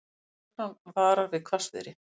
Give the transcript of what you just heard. Lögreglan varar við hvassviðri